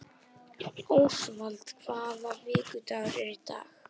Ósvald, hvaða vikudagur er í dag?